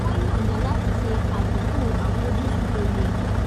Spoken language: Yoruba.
wọ́n yọ̀nda láti ṣe àtúntò àfojúsùn tó yẹ